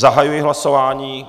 Zahajuji hlasování.